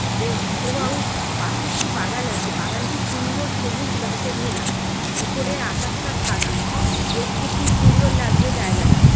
এব এবং পাশে একটি বাগান আছে বাগানটি সুন্দর সবুজ ঘাসে ঘেরা উপরের আকাশটা সাদা দেখতে খুব সুন্দর লাগছে জাযগাটা।